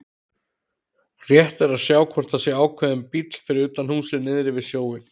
Rétt að sjá hvort það er ákveðinn bíll fyrir utan húsið niðri við sjóinn.